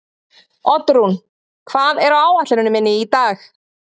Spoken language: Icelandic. Oddrún, hvað er á áætluninni minni í dag?